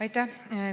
Aitäh!